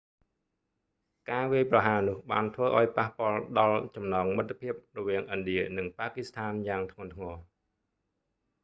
ការវាយប្រហារនោះបានធ្វើឲ្យប៉ះពាល់ដល់ចំណងមិត្តភាព រវាងឥណ្ឌានិងប៉ាគឺស្ថានយ៉ាងធ្ងន់ធ្ងរ